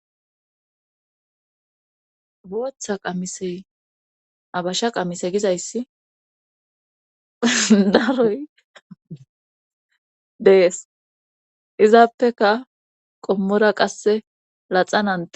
booththa qamisey abasha qamise gizayssi daaroy dees izaappeka qommora qasse laxanan dees